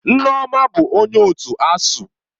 Nneoma bụ onye otu ASUU.